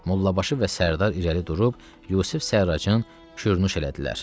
Mollabaşı və Sərdar irəli durub Yusif Sərracın qürnuş elədilər.